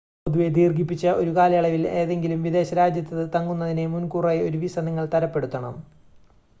പൊതുവെ, ദീർഘിപ്പിച്ച ഒരു കാലയളവിൽ ഏതെങ്കിലും വിദേശ രാജ്യത്ത് തങ്ങുന്നതിന് മുൻകൂറായി ഒരു വിസ നിങ്ങൾ തരപ്പെടുത്തണം